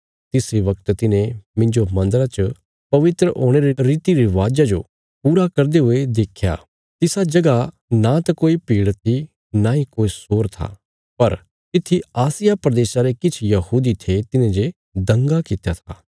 तिस इ वगत तिन्हें मिन्जो मन्दरा च पवित्र होणे रे रीति रिवाजा जो पूरा करदे हुये देख्या तिसा जगह नांत कोई भीड़ थी नांई कोई शोर था पर तित्थी आसिया प्रदेशा रे किछ यहूदी थे तिन्हे जे दंगा कित्या था